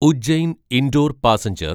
Ujjain Indore passenger